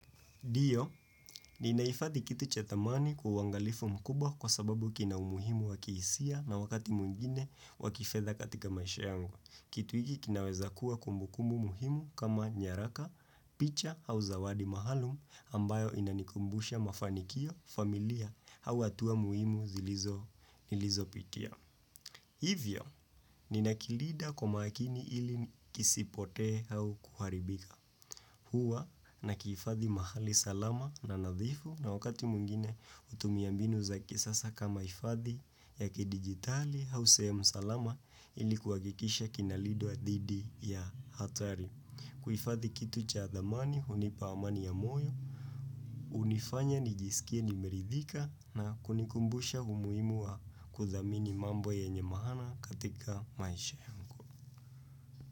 Ndio, ninahifadhi kitu cha dhamani kwa uangalifu mkubwa kwa sababu kina umuhimu wakihisia na wakati mwingine wa kifedha katika maisha yangu. Kitu hiki kinaweza kuwa kumbukumbu muhimu kama nyaraka, picha au zawadi maalum ambayo inanikumbusha mafanikio, familia, au hatua muhimu zilizo nilizopitia. Hivyo, ninakilida kwa makini ili kisipotee au kuharibika huwa na kihifadhi mahali salama na nadhifu na wakati mwingine hutumia mbinu za kisasa kama hifadhi ya kidigitali au sehemu salama ilikuhakikisha kinalidwa ya dhidi ya hatari. Kuhifadhi kitu cha dhamani, hunipa amani ya moyo, hunifanya nijisikie nimeridhika na kunikumbusha umuhimu wa kudhamini mambo yenye mahana katika maisha yangu.